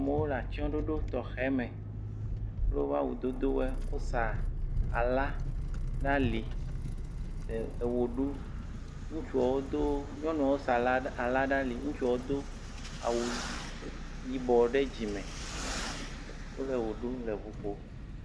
amowo latsɔɖoɖo tɔxɛme kple wóƒe awu dodowoe wosa ala ɖa li eɣeɖu ŋutsuɔwo do nyɔŋuɔwo sa ala ɖa li ŋutuɔwo do awu yibɔ ɖe dzime wóle ɣo ɖu le ʋu ƒó